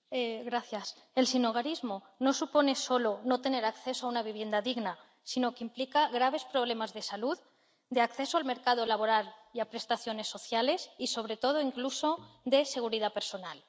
Señor presidente, el sinhogarismo no supone solo no tener acceso a una vivienda digna, sino que implica graves problemas de salud, de acceso al mercado laboral y a prestaciones sociales y, sobre todo, incluso, de seguridad personal.